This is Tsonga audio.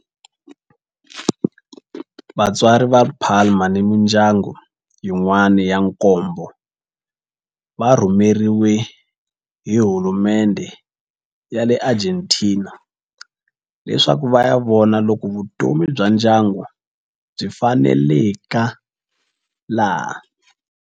Vatswari va Palma ni mindyangu yin'wana ya nkombo va rhumeriwe hi hulumendhe ya le Argentina leswaku va ya vona loko vutomi bya ndyangu byi faneleka laha.